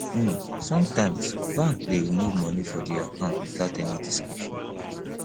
um sometimes banks de remove money from di account without any description